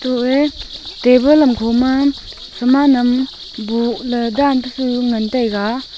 koh ei table am khoma hama nam boh ley dan pe chu ngan taiga.